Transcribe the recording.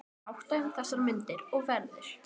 Svo er háttað um þessar mundir, og verður